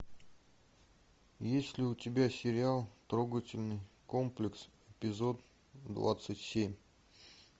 есть ли у тебя сериал трогательный комплекс эпизод двадцать семь